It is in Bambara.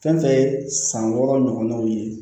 Fɛn fɛn ye san wɔɔrɔ ɲɔgɔnnaw ye